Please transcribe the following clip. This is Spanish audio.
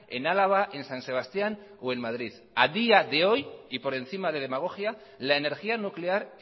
en álava en san sebastián o en madrid a día de hoy y por encima de demagogia la energía nuclear